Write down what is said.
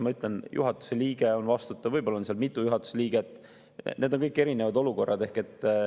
Ma ütlen, juhatuse liige on vastutav, võib-olla on seal mitu juhatuse liiget, need on kõik erinevad olukorrad.